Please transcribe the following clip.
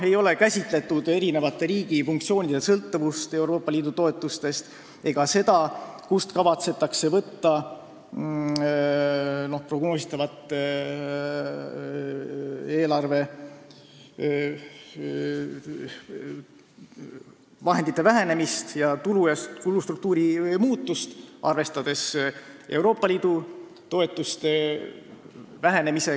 Ei ole käsitletud riigi eri funktsioonide sõltuvust Euroopa Liidu toetustest ega seda, kust kavatsetakse katta prognoositavat eelarvevahendite vähenemist ja tulustruktuuri muutust, arvestades Euroopa Liidu toetuste vähenemist.